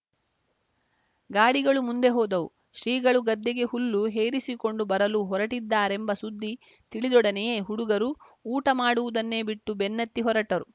ಗಾಡಿಗಳು ಮುಂದೆ ಹೋದವು ಶ್ರೀಗಳು ಗದ್ದೆಗೆ ಹುಲ್ಲು ಹೇರಿಸಿಕೊಂಡು ಬರಲು ಹೊರಟಿದ್ದಾರೆಂಬ ಸುದ್ದಿ ತಿಳಿದೊಡನೆಯೇ ಹುಡುಗರು ಊಟ ಮಾಡುವುದನ್ನೇ ಬಿಟ್ಟು ಬೆನ್ನತ್ತಿ ಹೊರಟರು